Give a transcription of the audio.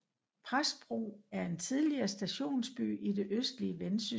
Præstbro er en tidligere stationsby i det østlige Vendsyssel med